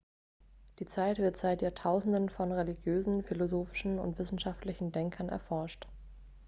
die zeit wird seit jahrtausenden von religiösen philosophischen und wissenschaftlichen denkern erforscht